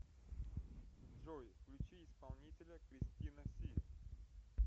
джой включи исполнителя кристина си